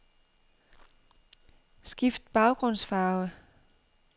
Skift baggrundsfarve.